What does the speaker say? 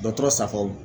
Dɔtɔrɔ safu